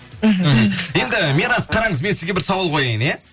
мхм енді мирас қараңыз мен сізге бір сауал қояйын иә